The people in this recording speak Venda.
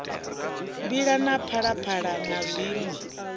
mbila na phalaphala na zwiṋwe